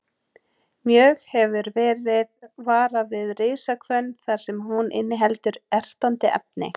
Mjög hefur verið varað við risahvönn þar sem hún inniheldur ertandi efni.